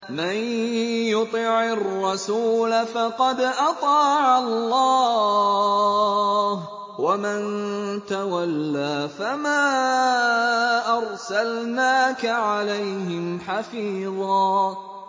مَّن يُطِعِ الرَّسُولَ فَقَدْ أَطَاعَ اللَّهَ ۖ وَمَن تَوَلَّىٰ فَمَا أَرْسَلْنَاكَ عَلَيْهِمْ حَفِيظًا